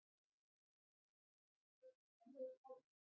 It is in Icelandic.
Er það ekki hjartað sem framleiðir tárin?